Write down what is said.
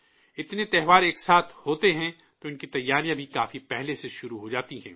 اتنے تہوار ایک ساتھ ہوتے ہیں تو ان کی تیاریاں بھی کافی پہلے سے شروع ہو جاتی ہیں